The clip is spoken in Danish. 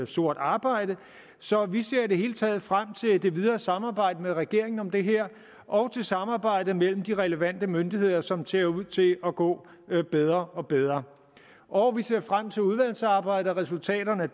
sort arbejde så vi ser i det hele taget frem til det videre samarbejde med regeringen om det her og til samarbejdet mellem de relevante myndigheder som ser ud til at gå bedre og bedre og vi ser frem til udvalgsarbejdet og resultaterne af